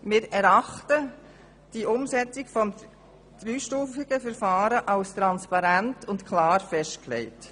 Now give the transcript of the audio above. Wir erachten die Umsetzung des dreistufigen Verfahrens als transparent und klar festgelegt.